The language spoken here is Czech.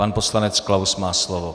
Pan poslanec Klaus má slovo.